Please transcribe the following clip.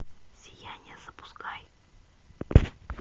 сияние запускай